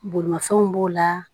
Bolimafɛnw b'o la